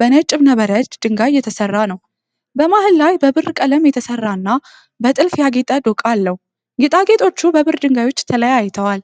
በነጭ ዕብነበረድ ድንጋይ የተሰራ ነው። በመሃል ላይ በብር ቀለም የተሰራ እና በጥልፍ ያጌጠ ዶቃ አለው፤ ጌጣጌጦቹ በብር ድንጋዮች ተለያይተዋል።